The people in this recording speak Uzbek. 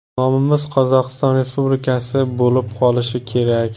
Nomimiz Qozog‘iston Respublikasi bo‘lib qolishi kerak.